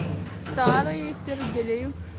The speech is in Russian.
старые сергели